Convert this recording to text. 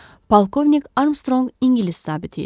Polkovnik Armstrong İngilis zabiti idi.